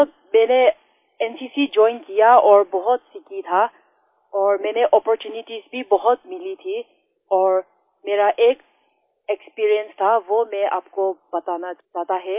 sir मैंने NCC join किया और बहुत सीखा था और मुझे अपॉर्च्यूनिटीज भी बहुत मिली थी और मेरा एक एक्सपीरियंस था वो मैं आपको बताना चाहता है